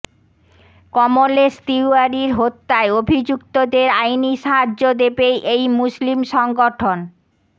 কমলেশ তিওয়ারির হত্যায় অভিযুক্তদের আইনি সাহায্য দেবে এই মুসলিম সংগঠন